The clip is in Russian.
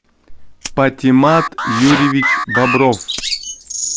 патимат юрьевич бобров